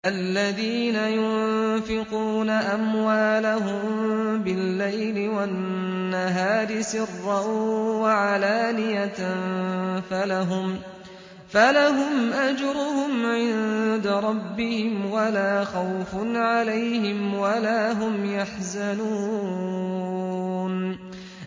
الَّذِينَ يُنفِقُونَ أَمْوَالَهُم بِاللَّيْلِ وَالنَّهَارِ سِرًّا وَعَلَانِيَةً فَلَهُمْ أَجْرُهُمْ عِندَ رَبِّهِمْ وَلَا خَوْفٌ عَلَيْهِمْ وَلَا هُمْ يَحْزَنُونَ